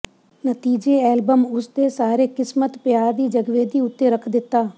ਨਤੀਜੇ ਐਲਬਮ ਉਸ ਦੇ ਸਾਰੇ ਕਿਸਮਤ ਪਿਆਰ ਦੀ ਜਗਵੇਦੀ ਉੱਤੇ ਰੱਖ ਦਿੱਤਾ